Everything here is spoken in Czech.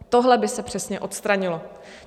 Tohle by se přesně odstranilo.